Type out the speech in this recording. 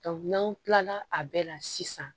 n'an kilala a bɛɛ la sisan